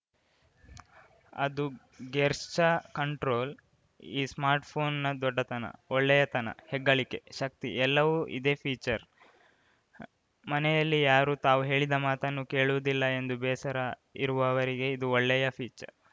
ಅದು ಗೆರ್ಶ್ಚ ಕಂಟ್ರೋಲ್‌ ಈ ಸ್ಮಾರ್ಟ್‌ಬ್ಯಾಂಡ್‌ನ ದೊಡ್ಡತನ ಒಳ್ಳೆಯತನ ಹೆಗ್ಗಳಿಕೆ ಶಕ್ತಿ ಎಲ್ಲವೂ ಇದೇ ಫೀಚರ್‌ ಮನೆಯಲ್ಲಿ ಯಾರೂ ತಾವು ಹೇಳಿದ ಮಾತನ್ನು ಕೇಳುವುದಿಲ್ಲ ಎಂದು ಬೇಸರ ಇರುವವರಿಗೆ ಇದು ಒಳ್ಳೆಯ ಫೀಚರ್‌